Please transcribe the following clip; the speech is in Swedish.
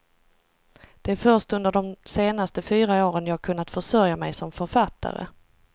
Det är först under de senaste fyra åren jag kunnat försörja mig som författare.